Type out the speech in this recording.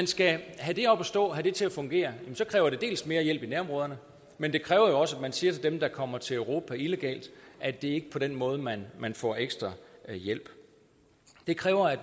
skal have det op at stå have det til at fungere kræver det mere hjælp i nærområderne men det kræver jo også at vi siger til dem der kommer til europa illegalt at det ikke er på den måde man får ekstra hjælp det kræver at